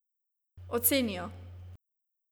Oceni jo.